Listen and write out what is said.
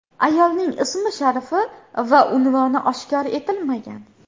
Ayolning ismi-sharifi va unvoni oshkor etilmagan.